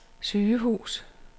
sygehus